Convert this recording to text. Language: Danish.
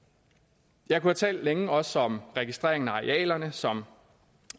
jeg kunne have talt længe også om registreringen af arealerne som